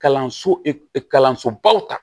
Kalanso kalansobaw ta